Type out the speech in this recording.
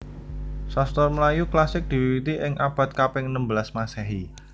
Sastra Melayu klasik diwiwiti ing abad kaping enem belas Masehi